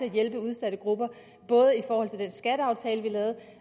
at hjælpe udsatte grupper både i forhold til den skatteaftale vi lavede